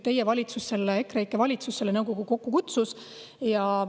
Teie valitsus, EKREIKE valitsus, selle nõukogu kokku kutsus.